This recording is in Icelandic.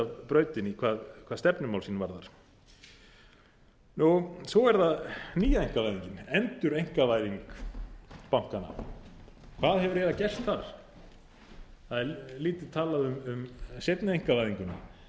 af brautinni hvað stefnumál sín varðar svo er það nýja einkavæðingin endureinkavæðing bankanna hvað hefur eiginlega gerst þar það er lítið talað um seinni einkavæðinguna